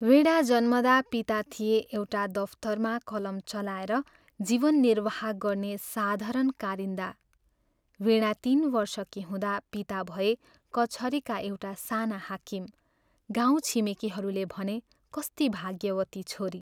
वीणा जन्मँदा पिता थिए एउटा दफ्तरमा कलम चलाएर जीवन निर्वाह गर्ने साधारण कारिन्दा वीणा तीन वर्षकी हुँदा पिता भए कचहरीका एउटा साना हाकिम गाउँ छिमेकीहरूले भने, "कस्ती भाग्यवती छोरी!